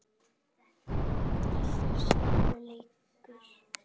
Alltaf sjálfum sér líkur.